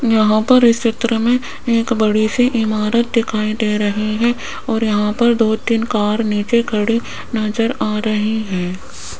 यहां पर इस चित्र में एक बड़ी सी इमारत दिखाई दे रही हैं और यहां पर दो तीन कार नीचे खड़ी नजर आ रही हैं।